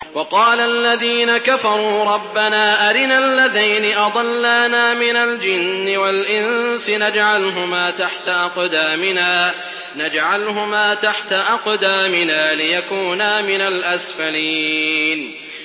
وَقَالَ الَّذِينَ كَفَرُوا رَبَّنَا أَرِنَا اللَّذَيْنِ أَضَلَّانَا مِنَ الْجِنِّ وَالْإِنسِ نَجْعَلْهُمَا تَحْتَ أَقْدَامِنَا لِيَكُونَا مِنَ الْأَسْفَلِينَ